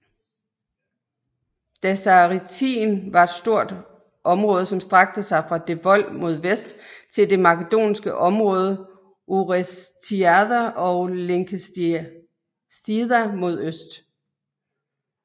Dasaretien var stort område som strakte sig fra Devol mod vest til det makedonske område Orestiada og Linkestida mod øst